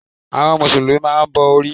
Àwọn mùsùlùmí máa n bo orí